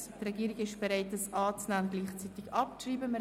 Die Regierung ist bereit, diese anzunehmen und gleichzeitig abzuschreiben.